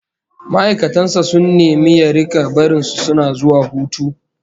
Ma'aikatan sa sun nemi ya rika barin su suna zuwa hutu